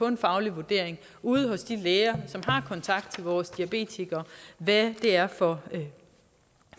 en faglig vurdering ude hos de læger som har kontakt til vores diabetikere hvad det er for